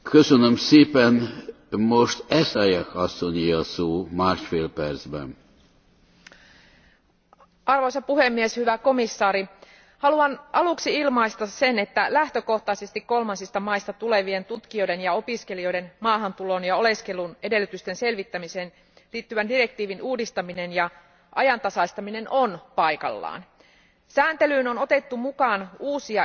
Arvoisa puhemies, hyvä komission jäsen, haluan aluksi ilmaista sen, että lähtökohtaisesti kolmansista maista tulevien tutkijoiden ja opiskelijoiden maahantulon ja oleskelun edellytysten selvittämiseen liittyvän direktiivin uudistaminen ja ajantasaistaminen on paikallaan. Sääntelyyn on otettu mukaan uusia ihmisryhmiä palkalliset ja palkattomat harjoittelijat, vapaaehtoistyötä tekevät sekä au pairina työskentelevät.